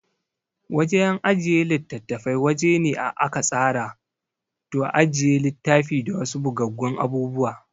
Wajan ajiye litattafai wajene a aka tsara to ajiye litafi da wasu bugaggun abubuwa